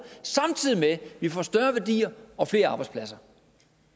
samtidig med at vi får større værdier og flere arbejdspladser